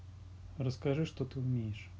расскажи что ты умеешь